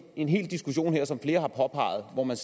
en hel diskussion her som flere har påpeget hvor man